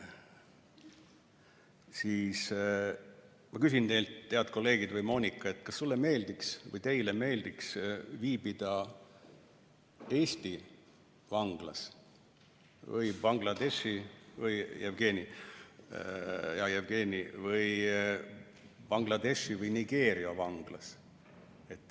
Siis ma küsin teilt, head kolleegid, Moonika ja Jevgeni jt, kas teile meeldiks viibida Eesti vanglas või Bangladeshi või Nigeeria vanglas.